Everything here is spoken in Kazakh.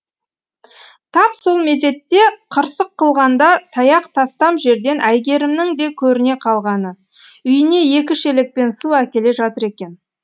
тап сол мезетте қырсық қылғанда таяқ тастам жерден әйгерімнің де көріне қалғаны үйіне екі шелекпен су әкеле жатыр екен